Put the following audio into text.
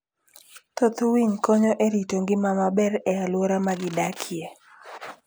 Thoth winy konyo e rito ngima maber e alwora ma gidakie.